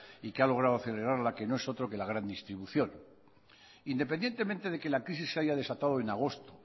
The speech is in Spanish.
y que ha logrado acelerarla y que no es otro que la gran distribución independientemente de que la crisis se haya desatado en agosto